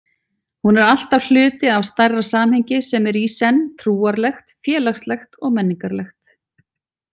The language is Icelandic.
Hún er alltaf hluti af stærra samhengi sem er í senn trúarlegt, félagslegt og menningarlegt.